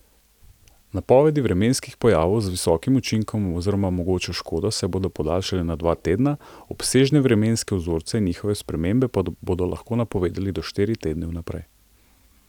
Napovedi vremenskih pojavov z visokim učinkom oziroma mogočo škodo se bodo podaljšale na dva tedna, obsežne vremenske vzorce in njihove spremembe pa bodo lahko napovedali do štiri tedne vnaprej.